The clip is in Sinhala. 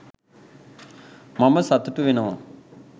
මම සතුටු වෙනවා